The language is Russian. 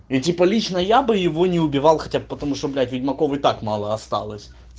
и типа лично я бы его не убивал хотя бы потому что блять ведьмаков и так мало осталось